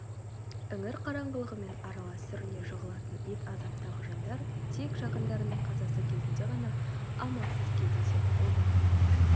іңір қараңғылығымен аралас сүріне жығылатын ит азаптағы жандар тек жақындарының қазасы кезінде ғана амалсыз кездеседі обадай